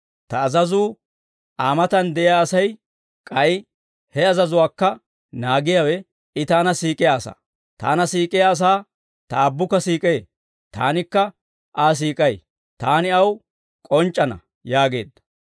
«Ta azazuu Aa matan de'iyaa asay, k'ay he azazuwaakka naagiyawe, I Taana siik'iyaa asaa. Taana siik'iyaa asaa Ta Aabbukka siik'ee; Taanikka Aa siik'ay. Taani aw k'onc'c'ana» yaageedda.